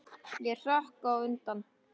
Ég hrökk undan.